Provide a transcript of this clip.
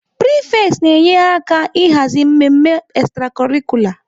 Prefects na-enyere aka ịhazi mmemme extracurricular.